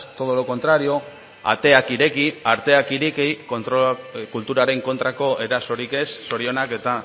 todo lo contrario ateak ireki arteak ireki kulturaren kontrako erasorik ez zorionak eta